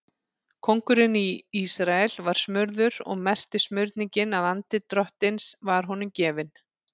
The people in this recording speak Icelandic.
Konungurinn í Ísrael var smurður og merkti smurningin að andi Drottins var honum gefinn.